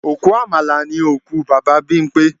Òkú Àmàlà ni òkú Bàbá Bímpé